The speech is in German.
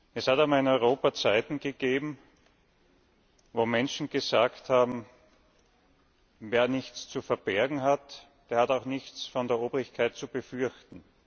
Es gab in Europa Zeiten, in denen Menschen gesagt haben Wer nichts zu verbergen hat, der hat auch nichts von der Obrigkeit zu befürchten.